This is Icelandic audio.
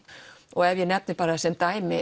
og ef ég nefni bara sem dæmi